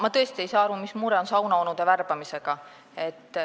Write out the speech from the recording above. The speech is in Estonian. Ma tõesti ei saa aru, mis mure on saunaonude värbamisega.